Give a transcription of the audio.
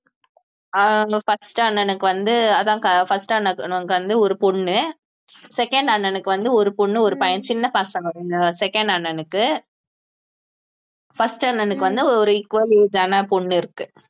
அஹ் அவுங்க first அண்ணனுக்கு வந்து அதான் first அண்ணனுக்கு வந்து ஒரு பொண்ணு second அண்ணனுக்கு வந்து ஒரு பொண்ணு ஒரு பையன் சின்ன பசங்க second அண்ணனுக்கு first அண்ணனுக்கு வந்து ஒரு equal age ஆன பொண்ணு இருக்கு